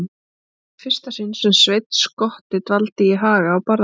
Þetta var í fyrsta sinn sem Sveinn skotti dvaldi í Haga á Barðaströnd.